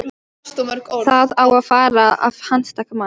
Það á að fara að handtaka mann.